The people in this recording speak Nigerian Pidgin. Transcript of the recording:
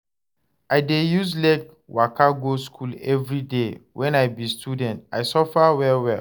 I dey use leg waka go skool everyday wen I be student, I suffer well-well.